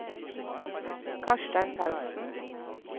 Karstein Paulsen